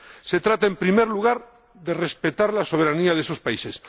Se trata, en primer lugar, de respetar la soberanía de esos países.